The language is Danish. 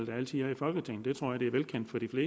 partier i folketinget